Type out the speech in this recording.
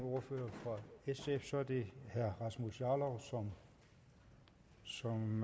ordfører fra sf så er det herre rasmus jarlov som